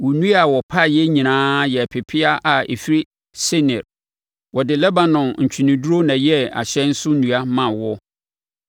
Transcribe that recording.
Wo nnua a wɔpaeɛ nyinaa yɛ pepeaa a ɛfiri Senir. Wɔde Lebanon ntweneduro na ɛyɛɛ ahyɛn so nnua maa woɔ.